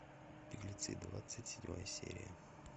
беглецы двадцать седьмая серия